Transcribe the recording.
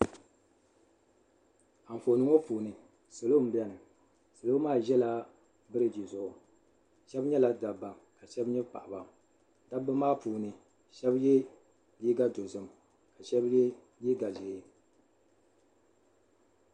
Anfooni ŋɔ puuni salo m biɛni salo maa ʒɛla biriji zuɣu sheba nyɛla dabba ka sheba nyɛ paɣaba dabba maa puuni sheba ye liiga dozim ka sheba ye liiga ʒee.